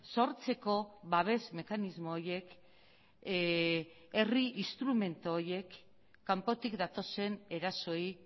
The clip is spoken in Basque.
sortzeko babes mekanismo horiek herri instrumentu horiek kanpotik datozen erasoei